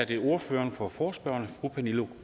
er det ordføreren for forespørgerne fru pernille